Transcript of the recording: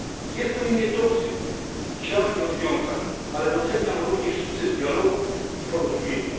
Jest pewien niedosyt działań i rozwiązań, ale doceniam również sukces dialogu i porozumienia.